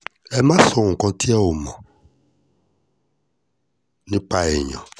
ẹ má sọ nǹkan tí ẹ ò mọ̀ nípa èèyàn